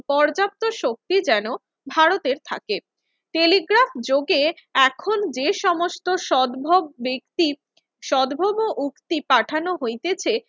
পর্যাপ্ত শক্তি যেন ভারতের থাকে। টেলিগ্রাফযোগে এখন যে সমস্ত সদ্ভব ব্যক্তির সদ্ভব উক্তি পাঠানো হইতেছে